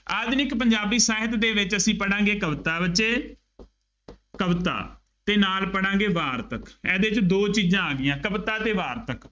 ਆਧੁਨਿਕ ਪੰਜਾਬੀ science ਦੇ ਵਿੱਚ ਅਸੀਂ ਪੜ੍ਹਾਂਗੇ ਕਵਿਤਾ ਬੱਚੇ ਕਵਿਤਾ ਅਤੇ ਨਾਲ ਪੜ੍ਹਾਂਗੇ ਵਾਰਤਕ। ਇਹਦੇ ਚ ਦੋ ਚੀਜ਼ਾਂ ਆ ਗਈਆਂ, ਕਵਿਤਾ ਅਤੇ ਵਾਰਤਕ।